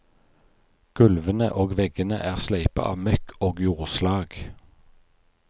Gulvene og veggene er sleipe av møkk og jordslag.